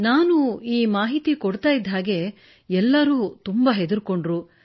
ನಾನು ಈ ಮಾಹಿತಿ ನೀಡುತ್ತಿದ್ದಂತೆಯೇ ಎಲ್ಲರೂ ಹೆದರಿಕೊಂಡರು